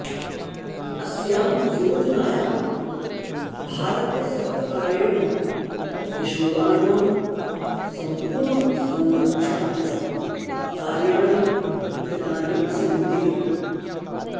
अस्यां योजनायां भारतसर्वकारेण किशोराणां सम्पूर्णसंरक्षणाय कार्याणि कृतानि सन्ति